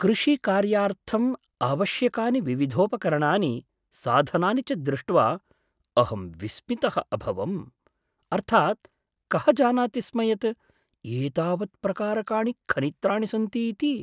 कृषिकार्यार्थम् आवश्यकानि विविधोपकरणानि, साधनानि च दृष्ट्वा अहं विस्मितः अभवम्। अर्थात् कः जानाति स्म यत् एतावत्प्रकारकाणि खनित्राणि सन्ति इति?